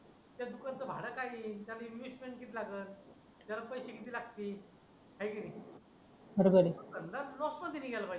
त्या दुकानाचं भाडं काय येईल इन्व्हेस्टमेंट किती लागेल त्याला पैसे किती लागतील हाय की नाही तो धंदा लॉस मध्ये नाही गेला पाहिजे